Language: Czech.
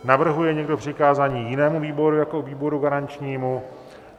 Navrhuje někdo přikázání jinému výboru jako výboru garančnímu?